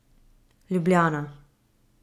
Ljubljana.